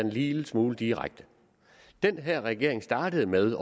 en lille smule direkte den her regering startede med